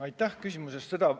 Aitäh küsimuse eest!